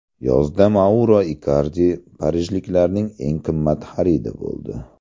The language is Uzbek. Yozda Mauro Ikardi parijliklarning eng qimmat xaridi bo‘ldi.